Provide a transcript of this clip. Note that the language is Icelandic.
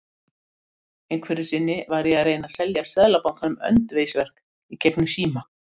Einhverju sinni var ég að reyna að selja Seðlabankanum öndvegisverk í gegnum síma.